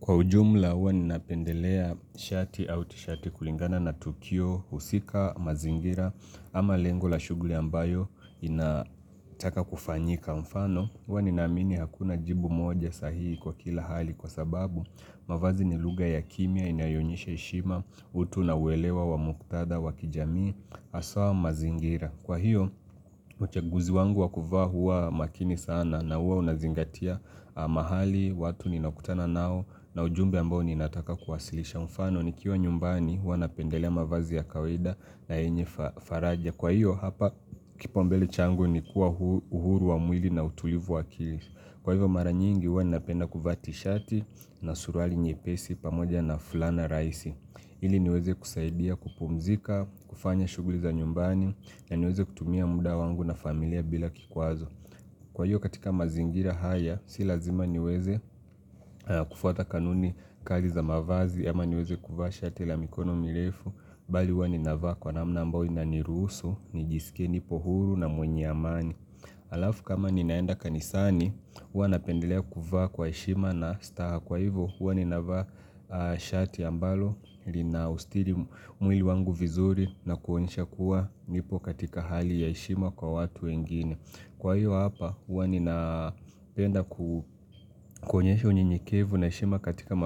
Kwa ujumla huwa ninapendelea shati au tishati kulingana na tukio husika mazingira ama lengo la shughuli ambayo inataka kufanyika mfano. Huwa ninaamini hakuna jibu moja sahihi kwa kila hali kwa sababu mavazi ni lugha ya kimya inayoonyesha heshima utu na uelewa wa muktadha wa kijamii haswa mazingira. Kwa hiyo, uchaguzi wangu wa kuvaa huwa makini sana na huwa unazingatia mahali, watu ninakutana nao na ujumbe ambao ninataka kuwasilisha. Mfano nikiwa nyumbani huwa napendelea mavazi ya kawaida na yenye faraja. Kwa hiyo, hapa kipaumbele changu ni kuwa uhuru wa mwili na utulivu wa akili. Kwa hivyo mara nyingi huwa ninapenda kuvaa tishati na suruali nyepesi pamoja na fulana rahisi. Ili niweze kusaidia kupumzika, kufanya shughuli za nyumbani, na niweze kutumia muda wangu na familia bila kikwazo. Kwa hiyo katika mazingira haya, si lazima niweze kufuata kanuni kali za mavazi, ama niweze kuvaa shati la mikono mirefu, bali huwa ninavaa kwa namna ambao inaniruhusu, nijisikie, nipo huru na mwenye amani. Alafu kama ninaenda kanisani, hua napendelea kuvaa kwa heshima na staha kwa hivyo huwa ninavaa shati ambalo na usitiri mwili wangu vizuri na kuonyesha kuwa nipo katika hali ya heshima kwa watu wengine. Kwa hiyo hapa huwa nina penda kuonyesha unyenyekevu na heshima katika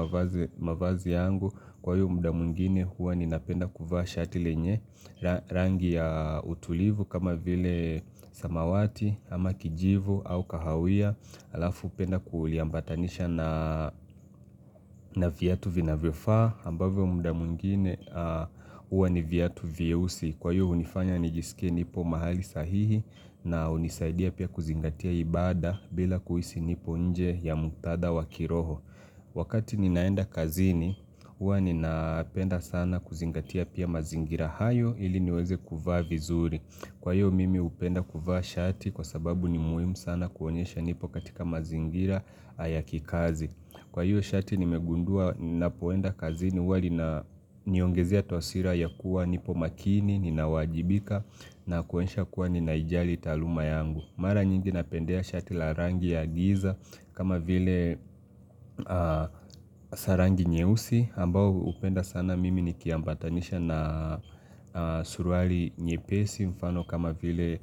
mavazi yangu Kwa hiyo muda mwingine huwa ninapenda kuvaa shati lenye rangi ya utulivu kama vile samawati ama kijivu au kahawia Alafu penda kuliambatanisha na na viatu vinavyofaa ambavyo muda mwingine huwa ni viatu vieusi Kwa hiyo hunifanya nijisikie nipo mahali sahihi na hunisaidia pia kuzingatia ibada bila kuhisi nipo nje ya muktadha wa kiroho Wakati ninaenda kazini, hua ninapenda sana kuzingatia pia mazingira hayo ili niweze kuvaa vizuri Kwa hiyo mimi hupenda kuvaa shati kwa sababu ni muhimu sana kuonyesha nipo katika mazingira ya kikazi Kwa hiyo shati nimegundua napoenda kazini huwa lina niongezea taswira ya kuwa nipo makini, ninawajibika na kuonyesha kuwa ninaijali taaluma yangu. Mara nyingi napendea shati la rangi ya giza kama vile za rangi nyeusi. Ambao hupenda sana mimi nikiambatanisha na suruali nyepesi mfano kama vile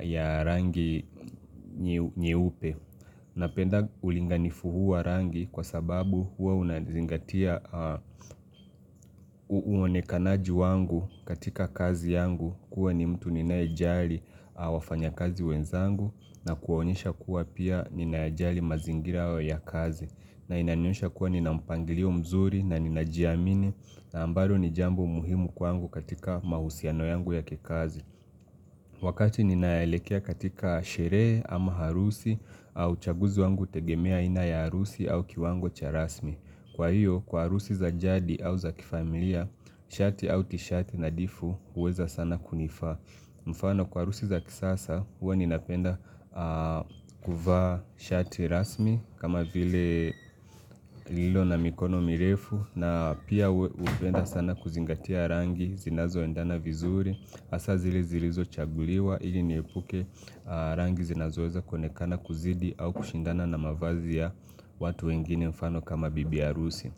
ya rangi nyeupe. Napenda ulinganifu huu wa rangi kwa sababu huwa unazingatia uonekanaji wangu katika kazi yangu kuwa ni mtu ninayejali wafanyakazi wenzangu na kuonyesha kuwa pia ninayajali mazingira ya kazi na inanionyesha kuwa nina mpangilio mzuri na ninajiamini na ambalo ni jambo muhimu kwangu katika mahusiano yangu ya kikazi. Wakati ninaelekea katika sherehe ama harusi au chaguzi wangu hutegemea aina ya harusi au kiwango cha rasmi. Kwa hiyo, kwa harusi za jadi au za kifamilia, shati au tishati nadhifu huweza sana kunifaa. Mfano kwa harusi za kisasa, huwa ninapenda kuvaa shati rasmi kama vile lililo na mikono mirefu na pia hupenda sana kuzingatia rangi zinazoendana vizuri. Hasa zile zilizochaguliwa ili niepuke rangi zinazoweza kuonekana kuzidi au kushindana na mavazi ya watu wengine mfano kama bibi harusi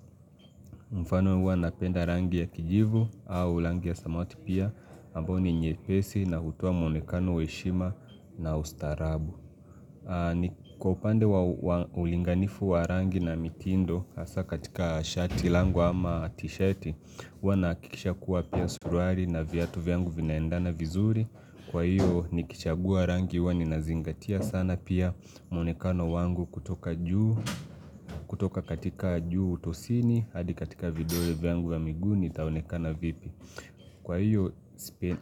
mfano huwa napenda rangi ya kijivu au rangi ya samawati pia ambayo ni nyepesi na hutoa muonekano wa heshima na ustaarabu Kwa upande wa ulinganifu wa rangi na mitindo Hasa katika shati langu ama tishati Huwa nahakikisha kuwa pia suruali na viatu vyangu vinaendana vizuri Kwa hiyo nikichagua rangi huwa ninazingatia sana pia muonekano wangu kutoka katika juu utosini hadi katika video vyangu wa miguu nitaonekana vipi Kwa hiyo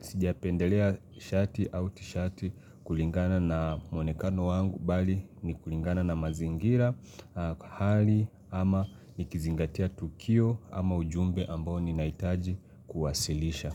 sijapendelea shati au tishati kulingana na muonekano wangu bali ni kulingana na mazingira Hali ama nikizingatia tukio ama ujumbe ambao ninahitaji kuwasilisha.